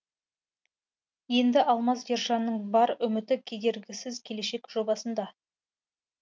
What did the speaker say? енді алмаз ержанның бар үміті кедергісіз келешек жобасында